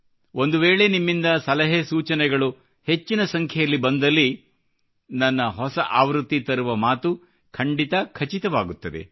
ಒಂದು ವೇಳೆ ನಿಮ್ಮಿಂದ ಸಲಹೆ ಸೂಚನೆಗಳು ಹೆಚ್ಚಿನ ಸಂಖ್ಯೆಯಲ್ಲಿ ಬಂದಲ್ಲಿ ನನ್ನ ಹೊಸ ಆವೃತ್ತಿ ತರುವ ಮಾತು ಖಂಡಿತಾ ಖಚಿತವಾಗುತ್ತದೆ